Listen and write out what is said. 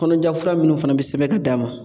Kɔnɔja fura minnu fana bi sɛbɛn k'a d'a ma